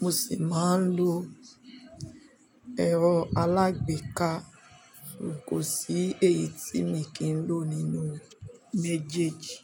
mo sì máa ń lo ẹ̀rọ alágbèéká kò sí èyí tí mi kì n lò nínú méjèèjì.